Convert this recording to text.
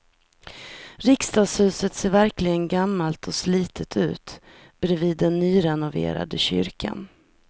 Riksdagshuset ser verkligen gammalt och slitet ut bredvid den nyrenoverade kyrkan.